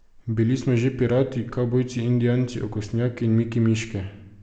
Bili smo že pirati, kavbojci, indijanci, okostnjaki in Miki miške.